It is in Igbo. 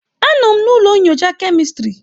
Anọ m na ụlọ nyocha kemistri.